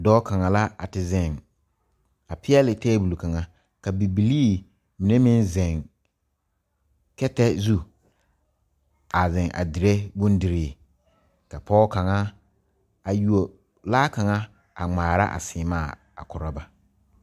Dɔɔ kaŋ la a te zeŋ a peɛle tabol kaŋa ka bibilii mine meŋ zeŋ kɛtɛ zu a zeŋ a dire bondirii ka pɔge kaŋa a yuo laa kaŋaa a ŋmaara a seemaa a korɔ ba.